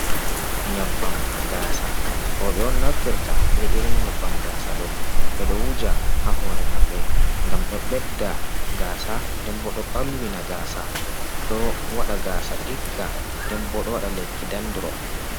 "Nyebbam gaasa" roɓe on naftirta be irin nyebbam gaasa ɗo be do wuja ha hore maɓɓe ngam ɗo ɓedda gaasa denbo do ɓalwina gaasa ɗo waɗa gaasa ɗigga dembodo waɗa lekki dandrof.